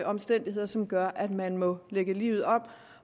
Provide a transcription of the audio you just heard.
omstændigheder som gør at man må lægge livet om